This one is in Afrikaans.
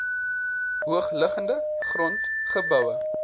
hoogliggende grond geboue